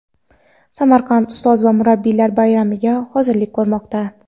Samarqand ustoz va murabbiylar bayramiga hozirlik ko‘rmoqda.